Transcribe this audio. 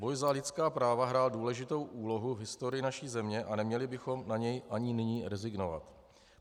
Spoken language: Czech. Boj za lidská práva hrál důležitou úlohu v historii naší země a neměli bychom na něj ani nyní rezignovat.